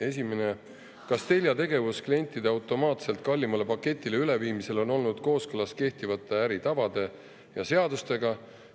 Esiteks, kas Telia tegevus klientide automaatselt kallimale paketile üleviimisel on olnud kooskõlas kehtivate äritavade ja seadustega?